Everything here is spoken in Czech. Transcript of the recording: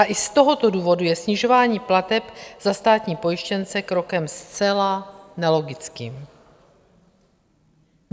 A i z tohoto důvodu je snižování plateb za státní pojištěnce krokem zcela nelogickým.